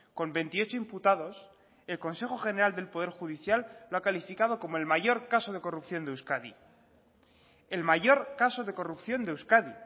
con veintiocho imputados el consejo general del poder judicial lo ha calificado como el mayor caso de corrupción de euskadi el mayor caso de corrupción de euskadi